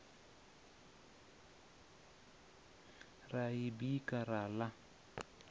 ra i bika ra ḽa